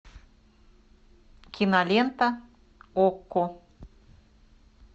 кинолента окко